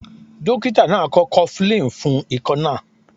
Dókítà náà kọ Cofflin fún ikọ́ náà.